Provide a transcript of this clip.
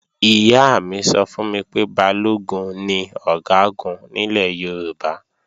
Ìyá mi sọ fún mi pé Balógun ni Ọ̀gágun nílẹ̀ Yorùbá